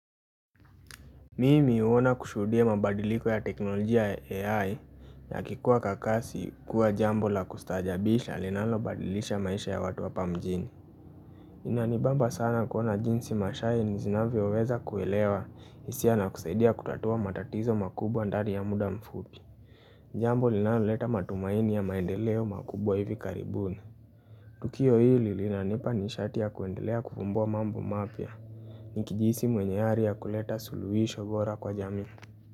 Mimi uona kushudie mabadiliko ya teknolojia AI na kikuwa kakasi kuwa jambo la kustajabisha linalo badilisha maisha ya watu wapa mjini. Inanibamba sana kuona jinsi mashahi ni zinavyo weza kuelewa isia na kusaidia kutatua matatizo makubwa ndari ya muda mfuki. Jambo linalo leta matumaini ya maendeleo makubwa hivi karibuni. Tukio hili linalo nishatia kuendelea kufumbwa mambo mafia. Nikijisi mwenyeari ya kuleta suluwisho vora kwa jami.